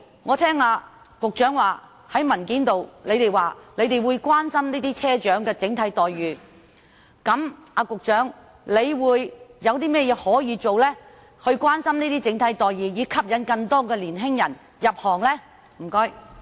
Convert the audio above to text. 我聽到局長在答覆中說會關心車長的整體待遇，因此我想問局長有甚麼可以做，以關心車長的整體待遇，從而吸引更多年青人入行呢？